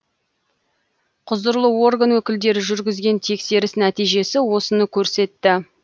құзырлы орган өкілдері жүргізген тексеріс нәтижесі осыны көрсетті